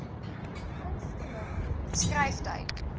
gunste ling skryftyd